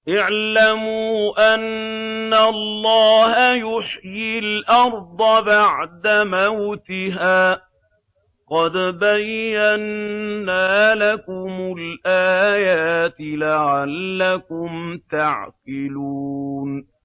اعْلَمُوا أَنَّ اللَّهَ يُحْيِي الْأَرْضَ بَعْدَ مَوْتِهَا ۚ قَدْ بَيَّنَّا لَكُمُ الْآيَاتِ لَعَلَّكُمْ تَعْقِلُونَ